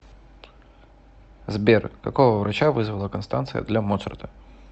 сбер какого врача вызвала констанция для моцарта